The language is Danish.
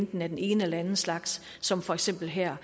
den ene eller den slags som for eksempel her